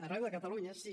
arreu de catalunya sí